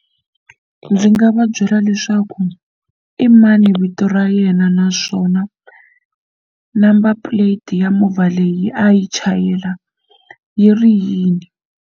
Ndzi nga va byela leswaku i mani vito ra yena naswona number plate ya movha leyi a yi chayela yi ri yini.